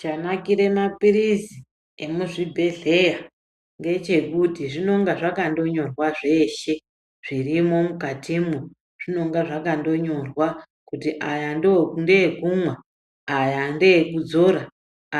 Chanakire mapirizi emuzvibhendleya ngechekuti zvinonga zvakangonyorwa zveshe zvirimwo mukati mwo zvinonga zvakangonyorwa kuti ayaa ndeekumwa. Ayaa ndeekudzora.